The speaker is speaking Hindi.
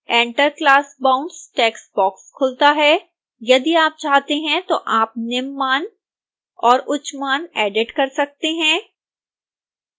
enter class boundsटेक्स्ट बॉक्स खुलता है यदि आप चाहते हैं तो आप निम्न मान और उच्च मान एडिट कर सकते हैं